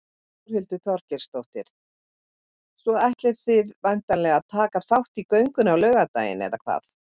Þórhildur Þorkelsdóttir: Svo ætlið þið væntanlega að taka þátt í göngunni á laugardaginn eða hvað?